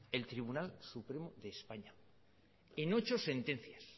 el tribunal supremo de españa en ocho sentencias